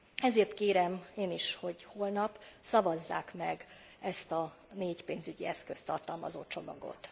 Ezért kérem én is, hogy holnap szavazzák meg ezt a négy pénzügyi eszközt tartalmazó csomagot.